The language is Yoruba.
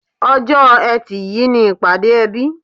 Ọjọ̀ Ẹtì yìí ni ìpàdé ẹbí